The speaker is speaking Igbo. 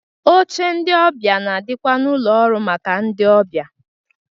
Oche ndị ọbịa na-adịkwa n'ụlọ ọrụ maka ndị ọbịa